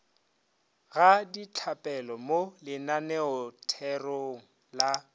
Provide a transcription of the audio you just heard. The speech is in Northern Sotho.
ga ditlapele mo lenaneotherong la